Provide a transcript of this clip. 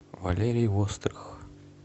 валерий вострых